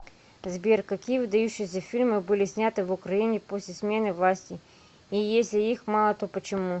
сбер какие выдающиеся фильмы были сняты в украине после смены власти и если их мало то почему